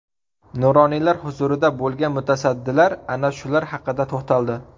Nuroniylar huzurida bo‘lgan mutasaddilar ana shular haqida to‘xtaldi.